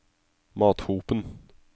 Mathopen